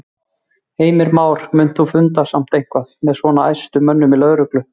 Heimir Már: Munt þú funda samt eitthvað með svona æðstu mönnum í lögreglu og tollayfirvalda?